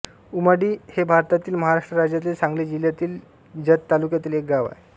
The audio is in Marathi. उमाडी हे भारतातील महाराष्ट्र राज्यातील सांगली जिल्ह्यातील जत तालुक्यातील एक गाव आहे